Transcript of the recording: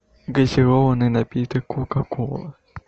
газированный напиток кока кола